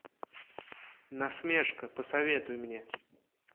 насмешка посоветуй мне